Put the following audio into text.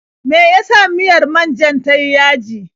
Me ya sa miyar man-jar ta yi yaji.